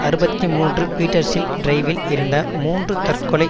அறுபத்தி மூன்று பீட்டர்ஷில் டிரைவில் இருந்த மூன்று தற்கொலை